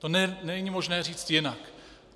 To není možné říct jinak.